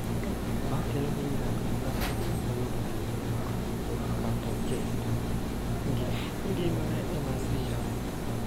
Ma kelo hinyruok ne ng�at ma oyudo hinyruok kata keto ngimane e masira.